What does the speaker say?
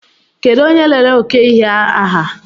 Kedụ onye lere oke ihe a ha?